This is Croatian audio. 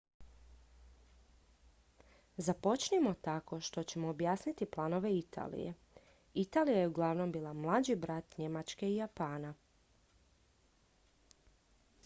"započnimo tako što ćemo objasniti planove italije. italija je uglavnom bila "mlađi brat" njemačke i japana.